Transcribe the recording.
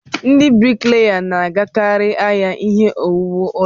Ndị brikleya na-agakarị ahịa ihe owuwu ụlọ.